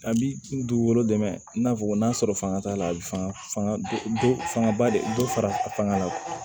A bi dugukolo dɛmɛ i n'a fɔ n'a sɔrɔ fanga t'a la a bi fangad fanga ba de bɛ fara a fanga kan